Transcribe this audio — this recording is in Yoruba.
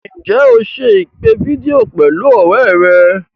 Ǹjẹ́ o se ìpè fídíò pẹ̀lú ọ̀rẹ́ rẹ̀?